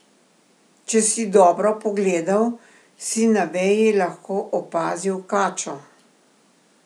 Če si dobro pogledal, si na veji lahko opazil kačo.